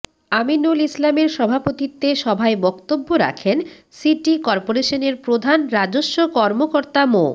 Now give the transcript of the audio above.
আমিনুল ইসলামের সভাপতিত্বে সভায় বক্তব্য রাখেন সিটি করপোরেশনের প্রধান রাজস্ব কর্মকর্তা মো